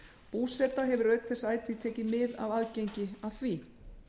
búseta hefur auk þess ætíð tekið mið af aðgengi að því